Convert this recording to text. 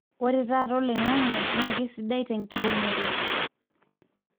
ore oloingange tata na keisidai tenkiremore.